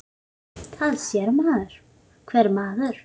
Það sér það hver maður.